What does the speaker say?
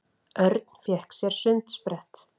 Örn fékk sér sundsprett.